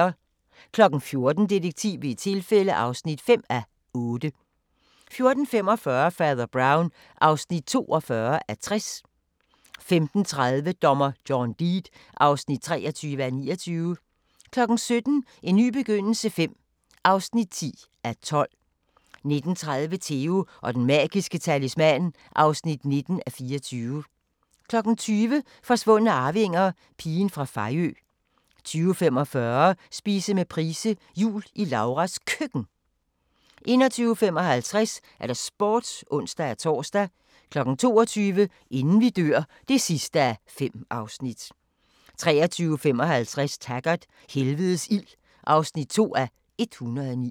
14:00: Detektiv ved et tilfælde (5:8) 14:45: Fader Brown (42:60) 15:30: Dommer John Deed (23:29) 17:00: En ny begyndelse V (10:12) 19:30: Theo & den magiske talisman (19:24) 20:00: Forsvundne arvinger - Pigen fra Fejø 20:45: Spise med Price – Jul i Lauras Køkken 21:55: Sporten (ons-tor) 22:00: Inden vi dør (5:5) 23:55: Taggart: Helvedes ild (2:109)